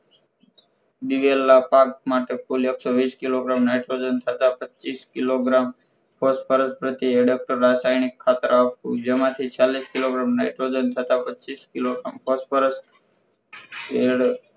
દિવેલના પાક માટે કુલ એકસો વીસ કીલ nitrogen તથા પચ્ચીસ કિલોગ્રામ phosphorus પછી એડેપ્ટર રાસાયણિક ખાતર આવતું જેમાંથી ચાલીસ કિલો nitrogen તથા પચીસ કિલો phosphorus